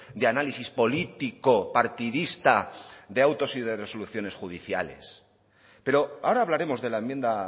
de análisis político partidista de autos y resoluciones judiciales pero ahora hablaremos de la enmienda